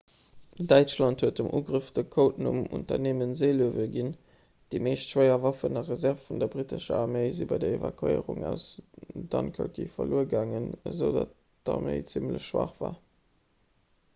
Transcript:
däitschland huet dem ugrëff de codenumm 'unternehmen seelöwe' ginn. déi meescht schwéier waffen a reserve vun der brittescher arméi si bei der evakuéierung aus dunkerke verluer gaangen esoudatt d'arméi zimmlech schwaach war